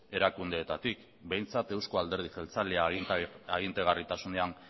erakundeetatik behintzat euzko alderdi jeltzalea agintegarritasunean